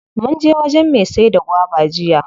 Munje wajen me saida gwaba jiya.